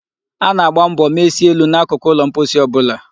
A na-agba mbo mechie elu na akụkụ ụlọ mposi ọ bụla.